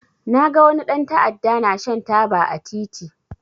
Na ga wani dan ta'adda ya na shan taba a titi